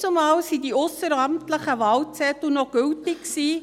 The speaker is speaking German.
Damals waren die ausseramtlichen Wahlzettel noch gültig.